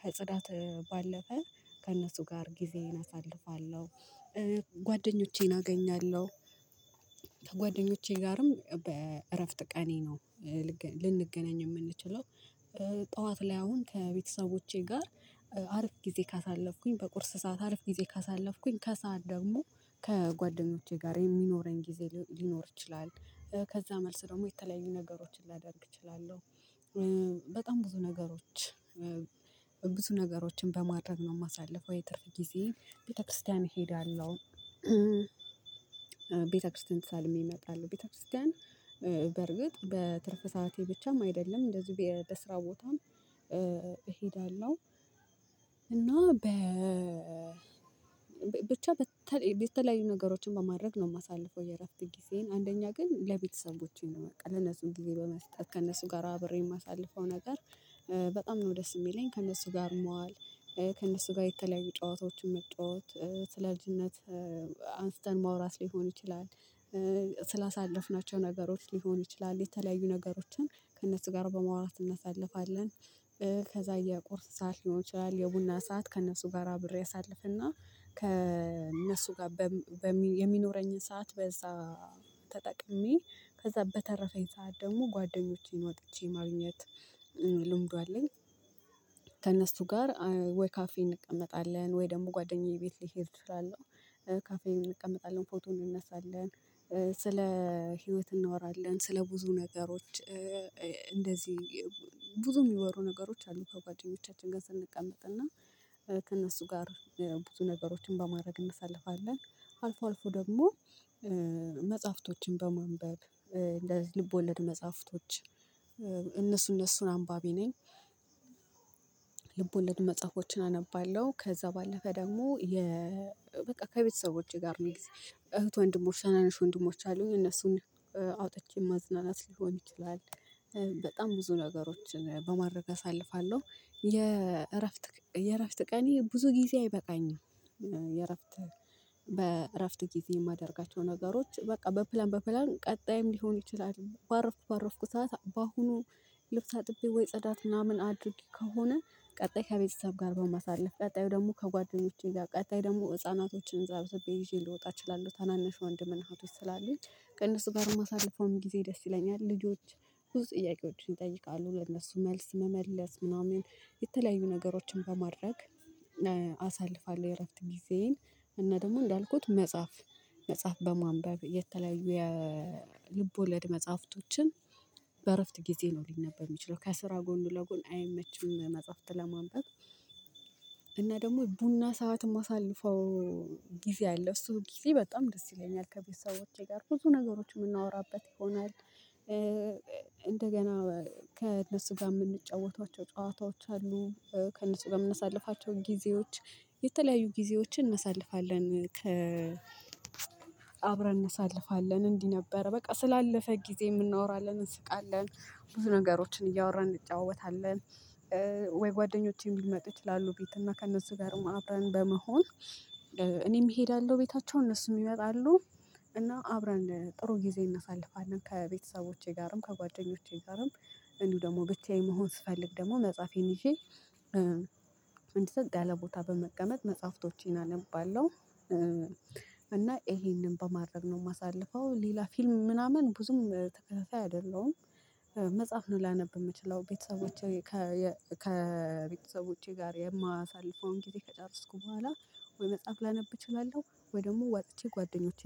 ከጽዳት ባለፈ ከእነሱ ጋር ጊዜን አሳልፋለሁ ጓደኞቼን አገኛለሁ። ከጓደኞቼ ጋርም በእረፍት ቀኔ ነው ልንገናኝ የምንችለው ጠዋት ላይ አሁን ከቤተሰቦቼ ጋር አርፍ ጊዜ ካሳለፍኩኝ በቁርስ ሰዓት አርፍ ጊዜ ካሳለፍኩኝ ከሰአት ደግሞ ከጓደኞቼ ጋር የሚኖረኝ ጊዜ ሊኖር ይችላል። ከዛ መልስ ደግሞ የተለያዩ ነገሮችን ላደርግ እችላለሁ። በጣም ብዙ ነገሮች ብዙ ነገሮችን በማድረግ ነው የማሳልፈው የትርፍ ጊዜ ቤተክርስቲያን እሄዳለሁ። ቤተክርስቲያን ተሳልሜ እመጣለሁ ቤተክርስቲያን በርግጥ በትርፍ ሰዓቴ ብቻም አይደለም እንደዚሁ በስራ ቦታም እሄዳለሁ። እና በ ብቻ በተለይ የተለያዩ ነገሮችን በማድረግ ነው የማሳልፈው። የእረፍት ጊዜን አንደኛ ግን ለቤተሰቦቼ ነው በቃ ለነሱ ጊዜ በመስጠት ከነሱ ጋር አብሬ የማሳልፈው ነገር። በጣም ነው ደስ የሚለኝ ከነሱ ጋር መዋል ከእነሱ ጋር የተለያየ ጨዋታዎችን መጫወት ስለ ልጅነት አንስተን ማውራት ሊሆን ይችላል። ስላሳለፍናቸው ነገሮች ሊሆን ይችላል የተለያዩ ነገሮችን ከእነሱ ጋር በመውራትድ እናሳልፋለን። ከዛ የቁርስ ሰዓት ሊሆን ይችላል የቡና ሰዓት ከእነሱ ጋራ አብሬ አሳልፍና ከእነሱ ጋር የሚኖረኝን ሰዓት በዛ ተጠቅሜ ከዛ በተረፈኝ ሰዓት ደግሞ ጓደኞቼን ወጥቼ ማግኘት ልምዱ አለኝ። ከእነሱ ጋር ወይ ካፌን እንቀመጣለን ወይ ደግሞ ጓደኛዬ ቤት ልሄድ እችላለሁ። ካፌ እንቀመጣለን ፎቶ እንነሳለን ስለ ህይወት እንወራለን ስለ ብዙ ነገሮች እንደዚህ ብዙ የሚወሩ ነገሮች አሉ። ከጓደኞቻችን ጋር ስንቀመጥና ከእነሱ ጋር ብዙ ነገሮችን በማድረግ እንሰልፋለን አልፎ አልፎ ደግሞ መጽሐፍቶችን በማንበብ ልቦለድ መጽሐፍቶች እነሱ እነሱን አንባቢ ነኝ። ልቦለድ መጽሐፎችን አነባለሁ። ከዛ ባለፈ ደግሞ የ በቃ ከቤተሰቦቼ ጋር እህት ወንድሞች ተናናሽ ወንድሞች አሉኝ እነሱን አውጥቼ ማዝናናት ሊሆን ይችላል በጣም ብዙ ነገሮችን በማድረግ አሳልፋለሁ የእረፍት የእረፍት ቀኔ ብዙ ጊዜ አይበቃኝም። የእረፍት በእረፍት ጊዜ የማደርጋቸው ነገሮች በቃ በፕላን በፕላን ቀጣይም ሊሆን ይችላል ባረፍኩ ባረፍኩ ሰዓት በአሁኑ ልብስ አጥቤ ወይ ትጽዳት ምናምን አድርጌ ከሆነ ቀጣይ ከቤተሰብ ጋር በማሳለፍ ቀጣዩ ደግሞ ከጓደኞቼ ጋር ቀጣይ ደግሞ ህፃናቶችን ስብስብ ይዤ ልወጣ እችላለሁ ታናንሽ ወንድምን እህቶች ስላሉኝ ከእነሱ ጋር ማሳለፈውም ጊዜ ደስ ይለኛል። ልጆች ብዙ ጥያቄዎችን ይጠይቃለሁ ለእነሱ መልስ መመለስ ምናምን የተለያዩ ነገሮችን በማድረግ አሳልፋለሁ። የእረፍት ጊዜዬን እና ደግሞ እንዳልኩት መጽሐፍ መጽሐፍ በማንበብ የተለያዩ የልብ ወለድ መጽሐፍቶችን በእረፍት ጊዜ ነው ሊነበብ የሚችለው ከስራ ጎን ለጎን አይመችም መጽሐፍት ለማንበብ ደግሞ ቡና ሰዓት ማሳልፈው ጊዜ አለ እሱ ጊዜ በጣም ደስ ይለኛል። ከቤተሰቦቼ ጋር ብዙ ነገሮች የምናወራበት ይሆናል። እንደገና ከእነሱ ጋር የምንጫወተቸው ጨዋታዎች አሉ ከእነሱ ጋር የምንሳልፋቸው ጊዜዎች የተለያዩ ጊዜዎችን እናሳልፋለን። አብረን እነሳልፋለን እንዲህ ነበር በቃ ስላለፈ ጊዜ እናወራለን እንስቃለን ብዙ ነገሮችን እያወራን እንጫወታለን። ወይ ጓደኞቼም ሊመጡ ይችላሉ ቤት እና ከእነርሱ ጋርም አብረን በመሆን እኔም እሄዳለሁ ቤታቸው እነሱን ይመጣሉ እና አብረን ጥሩ ጊዜ እናሳልፋለን። ከቤተሰቦቼ ጋርም ከጓደኞቼ ጋርም እንዲሁ ደግሞ ብቻዬን መሆን ስፈልግ ደግሞ መጽሐፌን ይዤ እንዲ ጸጥ ያለ ቦታ በመቀመጥ መጽሐፍቶቼን አነባለሁ። እና ይሄንን በማድረግ ነው የማሳልፈው ሌላ ፊልም ምናምን ብዙም ተከታታይ አይደለም። መጽሐፍ ነው ላነብ የምችለው ቤተሰቦቼ ከቤተሰቦቼ ጋር የማሳልፈውን ጊዜ ከጨረስኩ በኋላ ወይ መጽሐፍ ላነብ እችላለሁ ወይ ደግሞ ውጥቼ ጓደኞቼ